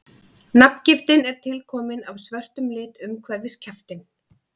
nafngiftin er tilkomin af svörtum lit umhverfis kjaftinn